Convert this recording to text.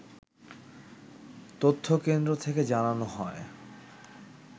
তথ্যকেন্দ্র থেকে জানানো হয়